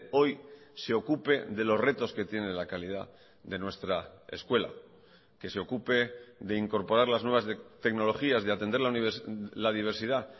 hoy se ocupe de los retos que tiene la calidad de nuestra escuela que se ocupe de incorporar las nuevas tecnologías de atender la diversidad